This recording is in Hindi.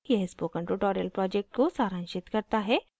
यह spoken tutorial project को सारांशित करता है